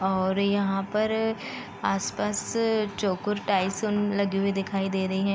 और यहां पर आस-पास लगे हुए दिखाई दे रहे हैं।